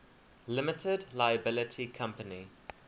limited liability company